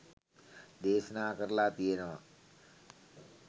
දේශනා කරලා තියෙනවා.